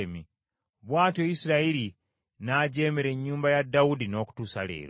Bw’atyo Isirayiri n’ajeemera ennyumba ya Dawudi n’okutuusa leero.